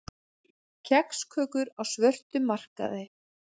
Kexkökur á svörtum markaði